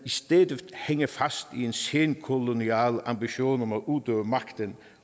stadig væk hænger fast i en senkolonial ambition om at udøve magten